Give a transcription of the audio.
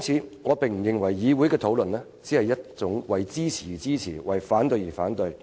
所以，我不認為議會的討論只是一種為支持而支持、為反對而反對的討論，